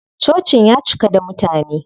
Cocin ya cika da mutane.